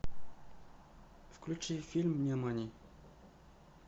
включи фильм нимани